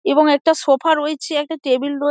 এবং একটা সোফা রয়েছে একটা টেবিল রয়ে--